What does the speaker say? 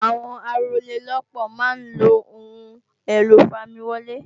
Àwọn Arólélópòó máa ń lo Ohun èlò ìfamiwọlé